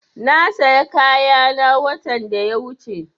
Na saya kayana watan da ya wuche